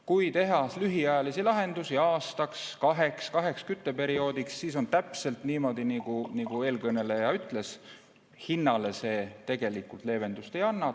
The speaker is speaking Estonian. Kui teha lühiajalisi lahendusi aastaks-kaheks, kaheks kütteperioodiks, siis on täpselt nii, nagu eelkõneleja ütles, et hinnale see tegelikult leevendust ei anna.